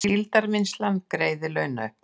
Síldarvinnslan greiðir launauppbót